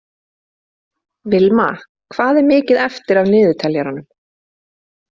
Vilma, hvað er mikið eftir af niðurteljaranum?